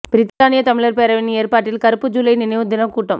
பிரித்தானிய தமிழர் பேரவையின் ஏற்பாட்டில் கறுப்பு ஜூலை நினைவு தினக் கூட்டம்